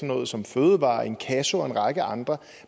noget som fødevarer inkasso og en række andre